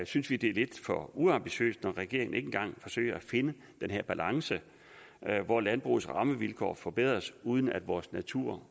synes vi det er lidt for uambitiøst at regeringen ikke engang forsøger at finde den her balance hvor landbrugets rammevilkår forbedres uden at vores natur